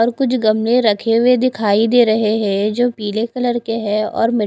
और कुछ गमले रखे हुए दिखाई दे रहे है जो पीले कलर के है और मी--